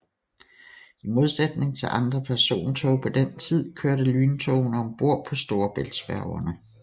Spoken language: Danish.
I modsætning til andre persontog på den tid kørte lyntogene om bord på storebæltsfærgerne